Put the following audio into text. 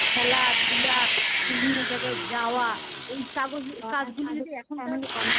খেলাধুলা বিভিন্ন জায়গায় যাওয়া এই কাজগুলি